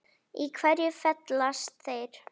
Í hverju felast þeir?